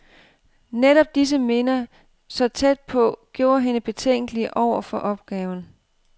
Netop disse minder, så tæt på, gjorde hende betænkelig over for opgaven.